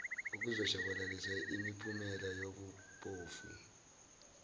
ukuzoshabalalisa imiphumela yobuphofu